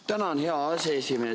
Tänan, hea aseesimees!